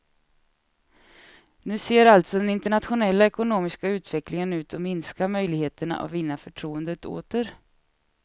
Nu ser alltså den internationella ekonomiska utvecklingen ut att minska möjligheterna att vinna förtroendet åter.